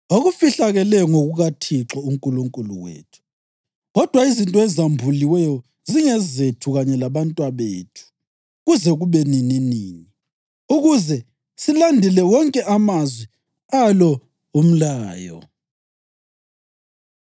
Okufihlakeleyo ngokukaThixo uNkulunkulu wethu, kodwa izinto ezambuliweyo zingezethu kanye labantwabethu kuze kube nininini, ukuze silandele wonke amazwi alo umlayo.”